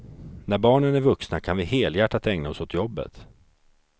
När barnen är vuxna kan vi helhjärtat ägna oss åt jobbet.